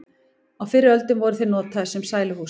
á fyrri öldum voru þeir notaðir sem sæluhús